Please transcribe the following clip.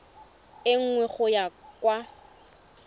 e nngwe go ya kwa